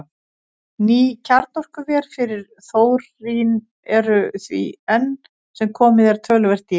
Ný kjarnorkuver fyrir þórín eru því enn sem komið er töluvert dýrari.